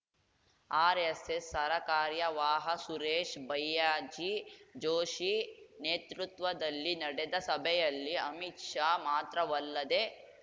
RSS ಸರಕಾರ್ಯವಾಹ ಸುರೇಶ್‌ ಭಯ್ಯಾಜಿ ಜೋಶಿ ನೇತೃತ್ವದಲ್ಲಿ ನಡೆದ ಸಭೆಯಲ್ಲಿ ಅಮಿತ್‌ ಶಾ ಮಾತ್ರವಲ್ಲದೆ